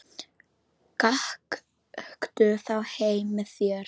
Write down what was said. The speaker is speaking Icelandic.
Gakktu þá heim með mér.